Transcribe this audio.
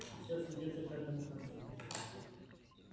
всё сведётся к одному концу